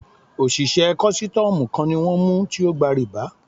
Òṣìṣẹ́ kọ́sítọ́mù kan ni wọ́n mú tí ógba rìbá.